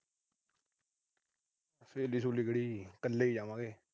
ਸੇਲੀ-ਸੁਲੀ ਕਿਹੜੀ। ਕੱਲੇ ਈ ਜਾਵਾਂਗੇ।